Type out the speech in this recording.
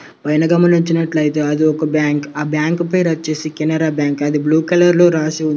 పైన గమనించినట్లయితే అది ఒక బ్యాంక్ . ఆ బ్యాంక్ పేరు వచ్చేసి కెనరా బ్యాంక్ . అది బ్లూ కలర్లో రాసి ఉంది.